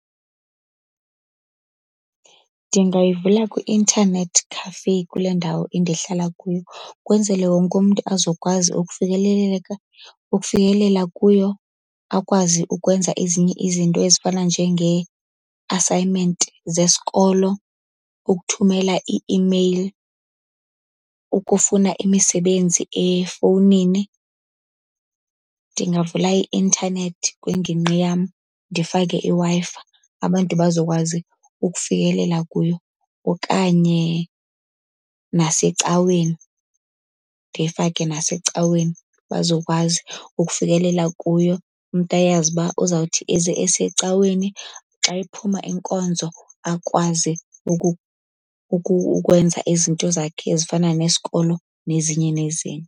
Ndingayivula kwi-internet cafe kule ndawo endihlala kuyo. Kwenzele wonkumntu azokwazi ukufikeleleka ukufikelela kuyo, akwazi ukwenza ezinye izinto ezifana njengee-assignment zesikolo, ukuthumela ii-email, ukufuna imisebenzi efowunini. Ndingavula i-intanethi kwingingqi yam ndifake iWi-Fi, abantu bazokwazi ukufikelela kuyo. Okanye nasecaweni, ndiyifake nasecaweni bazokwazi ukufikelela kuyo. Umntu ayazi uba uzawuthi eze esecaweni, xa iphuma inkonzo akwazi ukwenza izinto zakhe ezifana nesikolo nezinye nezinye.